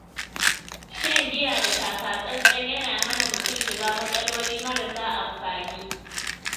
Shan giya da taka-tsan-tsan yana hana mutum shiga matsaloli marasa amfani.